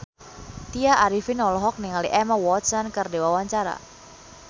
Tya Arifin olohok ningali Emma Watson keur diwawancara